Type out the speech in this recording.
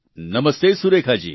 નમસ્તે સુરેખા જી